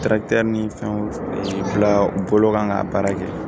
ni fɛnw bila u bolo kan ka baara kɛ